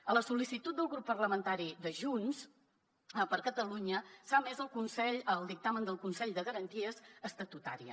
a sol·licitud del grup parlamentari de junts per catalunya s’ha emès un dictamen del consell de garanties estatutàries